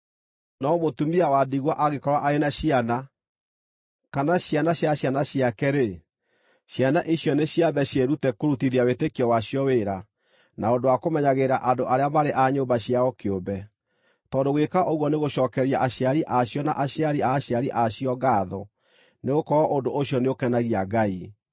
No mũtumia wa ndigwa angĩkorwo arĩ na ciana, kana ciana cia ciana ciake-rĩ, ciana icio nĩ ciambe ciĩrute kũrutithia wĩtĩkio wacio wĩra na ũndũ wa kũmenyagĩrĩra andũ arĩa marĩ a nyũmba ciao kĩũmbe; tondũ gwĩka ũguo nĩ gũcookeria aciari a cio na aciari a aciari a cio ngaatho nĩgũkorwo ũndũ ũcio nĩũkenagia Ngai.